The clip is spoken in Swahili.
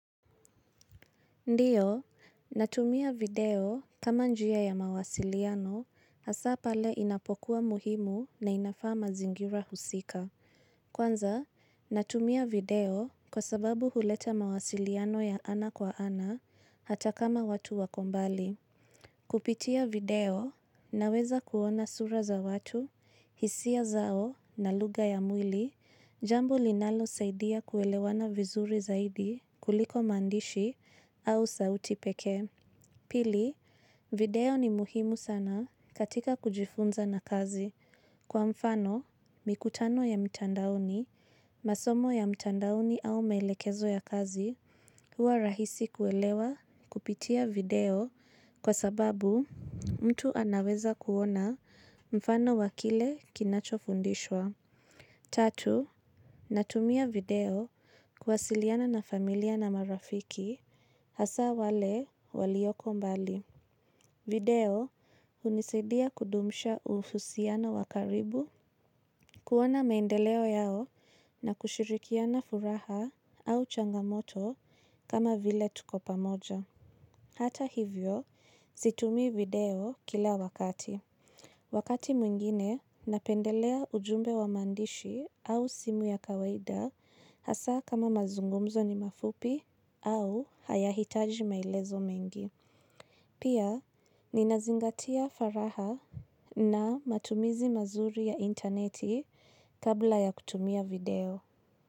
Ndiyo, natumia video kama njia ya mawasiliano hasa pale inapokuwa muhimu na inafa ma zingira husika. Kwanza, natumia video kwa sababu huleta mawasiliano ya ana kwa ana hata kama watu wakombali. Kupitia video na weza kuona sura za watu, hisia zao na luga ya mwili, jambu linalo saidia kuelewana vizuri zaidi kuliko mandishi au sauti peke. Pili, video ni muhimu sana katika kujifunza na kazi. Kwa mfano, mikutano ya mitandaoni, masomo ya mtandouni au melekezo ya kazi huwa rahisi kuelewa kupitia video kwa sababu mtu anaweza kuona mfano wakile kinacho fundishwa. Tatu, natumia video kwasiliana na familia na marafiki hasa wale walioko mbali. Video, unisidia kudumisha uhusiano wakaribu, kuwona maendeleo yao na kushirikiana furaha au changamoto kama vile tukopamoja. Hata hivyo, situmi video kila wakati. Wakati mwingine, napendelea ujumbe wa mandishi au simu ya kawaida hasa kama mazungumzo ni mafupi au hayahitaji maelezo mengi. Pia, ninazingatia faraha na matumizi mazuri ya interneti kabla ya kutumia video.